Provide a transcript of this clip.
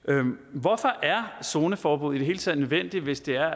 hvorfor er zoneforbud i det hele taget nødvendigt hvis det er